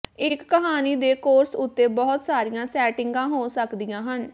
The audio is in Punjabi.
ਇੱਕ ਕਹਾਣੀ ਦੇ ਕੋਰਸ ਉੱਤੇ ਬਹੁਤ ਸਾਰੀਆਂ ਸੈਟਿੰਗਾਂ ਹੋ ਸਕਦੀਆਂ ਹਨ